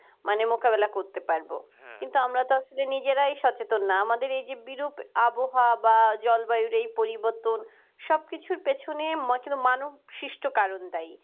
মানে মোকাবেলা করতে পারব তো আমরা তো আসলে নিজেরাই সচেতন না আমাদের এই যে বিরূপ আবহাওয়া বা জলবায়ু এই পরিবর্তন সবকিছুর পেছনে মানব সৃষ্ট কারন দায়